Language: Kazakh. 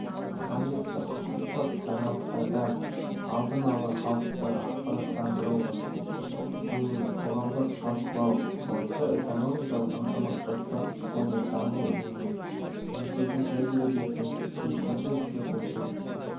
қажетті құқықтық жаңалықтардан алдын ала халықты ақпараттандыру мен қоғамдық талқылау бойынша экономикалық ынтымақтастық және даму ұйымы елдерінің тәжірибесін белсенді іске қосу